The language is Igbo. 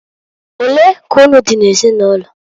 Olee ka unu dị n'ezinụlọ?